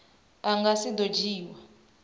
a nga si do dzhiiwa